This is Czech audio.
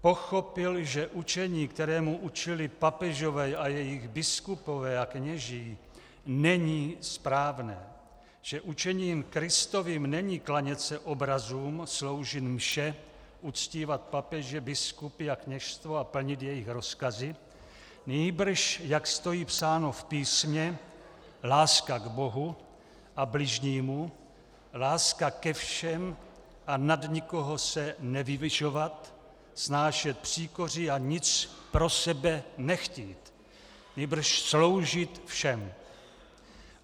Pochopil, že učení, kterému učili papežové a jejich biskupové a kněží, není správné, že učením Kristovým není klanět se obrazům, sloužit mše, uctívat papeže, biskupy a kněžstvo a plnit jejich rozkazy, nýbrž, jak stojí psáno v písmě, láska k Bohu a bližnímu, láska ke všem a nad nikoho se nevyvyšovat, snášet příkoří a nic pro sebe nechtít, nýbrž sloužit všem.